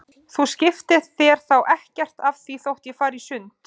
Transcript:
Þú skiptir þér þá ekkert af því þótt ég fari í sund?